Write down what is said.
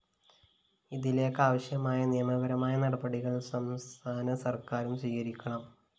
ഇതിലേക്കാവശ്യമായ നിയമപരമായ നടപടികള്‍ സംസ്ഥാന സര്‍ക്കാരും സ്വീകരിക്കണം